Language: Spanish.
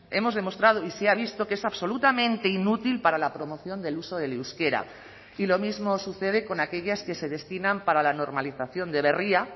hemos demostrado y se ha visto que es absolutamente inútil para la promoción del uso del euskera y lo mismo sucede con aquellas que se destinan para la normalización de berria